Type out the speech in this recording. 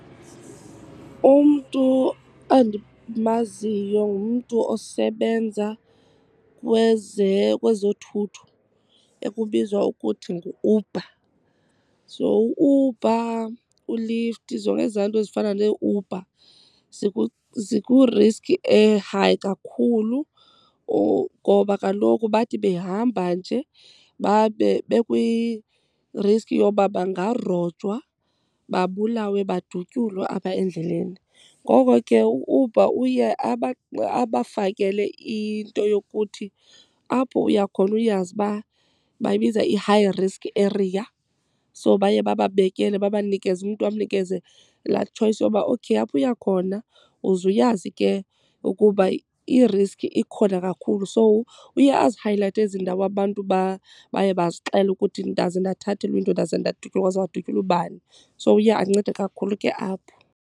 Umntu endimaziyo ngumntu osebenza kwezothutho ekubizwa ukuthi ngu-Uber. So u-Uber, uLift, zonke ezaa nto zifana neeUber ziku-risk e-high kakhulu ngoba kaloku bathi behamba nje babe bekwi-risk yoba bangarojwa babulawe badutyulwe apha endleleni. Ngoko ke u-Uber uye abafakele into yokuthi apho uyakhona uyazi uba bayibiza i-high risk area. So baye bababekele babanikeze, umntu bamnikeze laa choice yoba okayapho uya khona uzuyazi ke ukuba i-risk ikhona kakhulu. So uye azihayilayithe ezi ndawo abantu baye bazixele ukuthi ndaze ndathathelwa into, ndaze ndadutyulwa kwaze kwadutyulwa ubani. So uye ancede kakhulu ke apho.